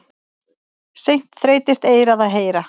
Seint þreytist eyrað að heyra.